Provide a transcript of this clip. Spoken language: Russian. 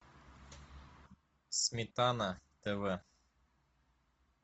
сметана тв